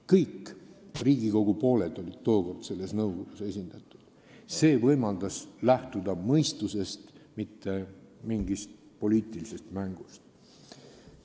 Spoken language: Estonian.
Mõlemad Riigikogu pooled olid tookord selles nõukogus esindatud ning see võimaldas lähtuda mõistusest, ei tulnud lähtuda mingist poliitilisest mängust.